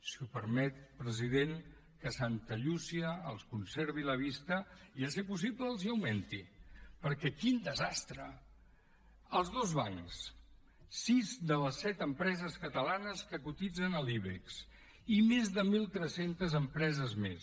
si m’ho permet president que santa llúcia els conservi la vista i a ser possible els l’augmenti perquè quin desastre els dos bancs sis de les set empreses catalanes que cotitzen a l’ibex i més de mil tres cents empreses més